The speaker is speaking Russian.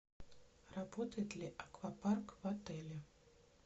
работает ли аквапарк в отеле